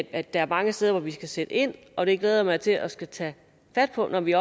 i at der er mange steder vi skal sætte ind og det glæder jeg mig til at skulle tage fat på når vi